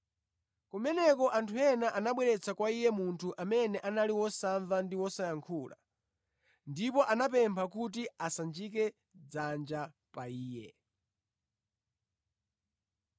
Kumeneko anthu ena anabweretsa kwa Iye munthu amene anali wosamva ndi wosayankhula, ndipo anamupempha kuti asanjike dzanja pa iye.